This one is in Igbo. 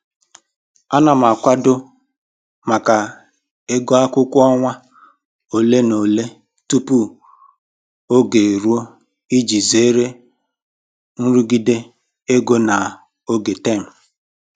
Ana m akwado maka ego akwụkwọ ọnwa ole na ole tupu oge eruo iji zere nrụgide ego na oge tem